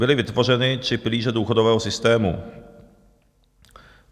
Byly vytvořeny tři pilíře důchodového systému.